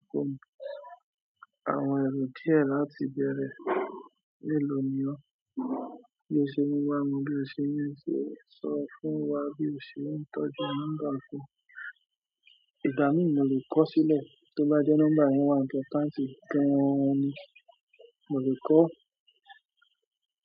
Àwọn ẹ̀rọ díẹ̀ láti bẹ̀rẹ̀. Lélò ni ó. Bí ò ṣe ń wá mù, bí o ṣe ń ṣe, sọ fún wà bí ò ṣe ń tọ́jú nọ́mbà kàn. Ìgbà mi mò lè kọ̀ sílẹ̀ tó bá dé nọ́mbà yẹn wá tó tán tí n tọ́ gàn ni. Mò lè kọ̀